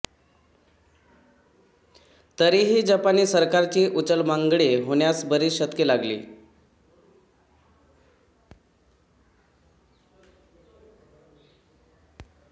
तरीही जपानी सरकारची उचलबांगडी होण्यास बरीच शतके लागली